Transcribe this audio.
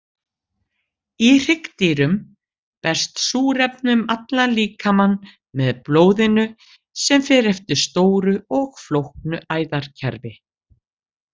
Í hryggdýrum berst súrefni um líkamann með blóðinu sem fer eftir stóru og flóknu æðakerfi.